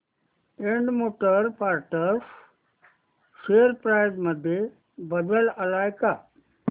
Ind motor parts share price मध्ये बदल आलाय का